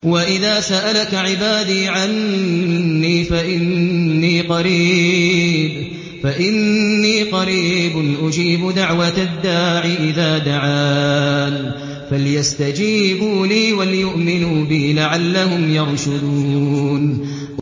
وَإِذَا سَأَلَكَ عِبَادِي عَنِّي فَإِنِّي قَرِيبٌ ۖ أُجِيبُ دَعْوَةَ الدَّاعِ إِذَا دَعَانِ ۖ فَلْيَسْتَجِيبُوا لِي وَلْيُؤْمِنُوا بِي لَعَلَّهُمْ يَرْشُدُونَ